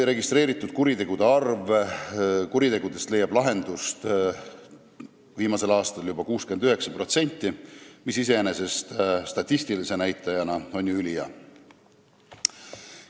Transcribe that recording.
Registreeritud kuritegudest leidis viimasel aastal lahenduse juba 69%, mis statistilise näitajana on ju iseenesest ülihea.